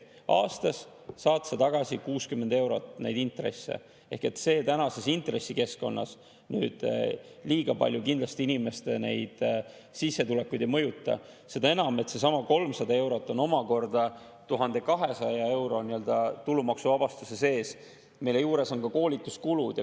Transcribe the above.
Aastas saad sa tagasi 60 eurot intresse ehk see tänases intressikeskkonnas nüüd liiga palju inimeste sissetulekuid ei mõjuta, seda enam, et seesama 300 eurot on omakorda 1200-eurose tulumaksuvabastuse sees, mille juures on ka koolituskulud.